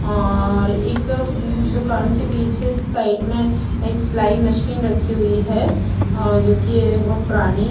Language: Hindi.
और एक दुकान के पीछे साइड में एक सिलाई मशीन रखी हुई है अ जो कि यह बहोत पुरानी --